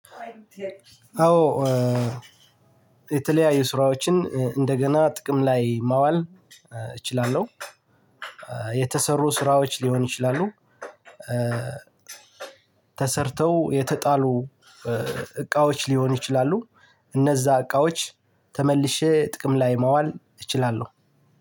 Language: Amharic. አዎ፣ የተለያዩ ስራዎችን እንደገና ጥቅም ላይ ማዋል እችላለሁ። የተሰሩ ስራዎች ሊሆን ይችላሉ እ ተሰርተው የተጣሉ እቃዎች ሊሆኑ ይችላሉ፣ እነዛ እቃዎች ተመልሼ ጥቅም ላይ ማዋል እችላለሁ።